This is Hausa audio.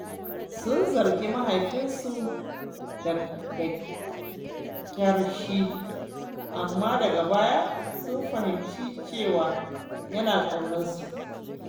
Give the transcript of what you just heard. Sun zargi mahaifinsu da ƙyashi, amma daga baya sun fahimci cewa yana ƙaunarsu ne.